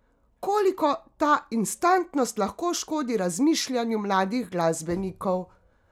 Koliko ta instantnost lahko škodi razmišljanju mladih glasbenikov?